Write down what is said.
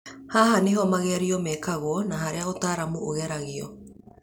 Haha nĩhō magerio mekagwo na harĩa ũtaramu ũgeragio